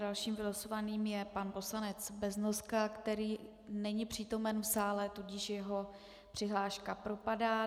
Dalším vylosovaným je pan poslanec Beznoska, který není přítomen v sále, tudíž jeho přihláška propadá.